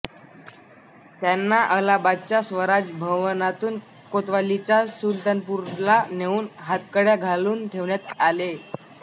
त्यांना अलाहाबादच्या स्वराज भवनातून कोतवालीच्या सुलतानपूरला नेऊन हातकड्या घालून ठेवण्यात आले